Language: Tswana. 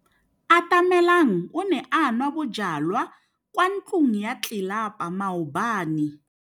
Atamelang o ne a nwa bojwala kwa ntlong ya tlelapa maobane.